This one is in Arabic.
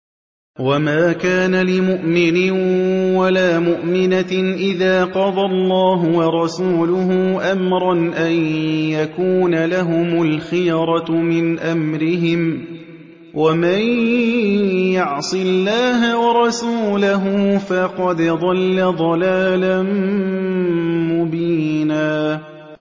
وَمَا كَانَ لِمُؤْمِنٍ وَلَا مُؤْمِنَةٍ إِذَا قَضَى اللَّهُ وَرَسُولُهُ أَمْرًا أَن يَكُونَ لَهُمُ الْخِيَرَةُ مِنْ أَمْرِهِمْ ۗ وَمَن يَعْصِ اللَّهَ وَرَسُولَهُ فَقَدْ ضَلَّ ضَلَالًا مُّبِينًا